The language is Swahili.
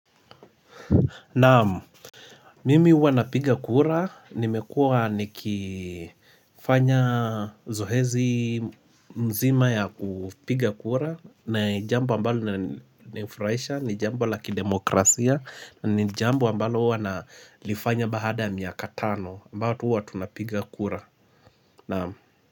Naam Mimi uwa napiga kura nimekua nikifanya zohezi mzima ya kupiga kura na jambo ambalo linaninfuraisha ni jambo la kidemokrasia ni jambo ambalo uwa nalifanya bahada ya miaka tano ambayo tuwa tunapiga kura naam.